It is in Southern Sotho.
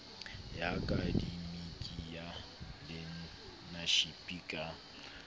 ya akademiki ya learnership ka